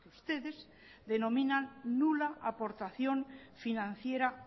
ustedes denominan nula aportación financiera